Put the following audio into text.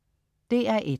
DR1: